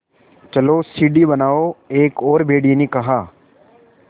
चलो सीढ़ी बनाओ एक और भेड़िए ने कहा